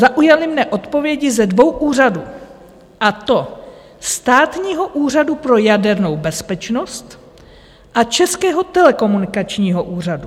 Zaujaly mě odpovědi ze dvou úřadů, a to Státního úřadu pro jadernou bezpečnost a Českého telekomunikačního úřadu.